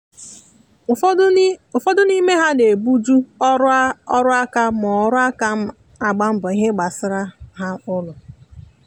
ụfọdụ n'ime ha na ebu ju ọrụ aka ma ọrụ aka ma na agba mbọ ìhè gbasara ha na ụlọ